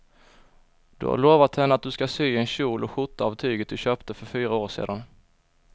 Du har lovat henne att du ska sy en kjol och skjorta av tyget du köpte för fyra år sedan.